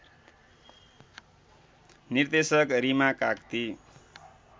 निर्देशक रिमा काग्ती